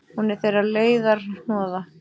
Hún er þeirra leiðarhnoða.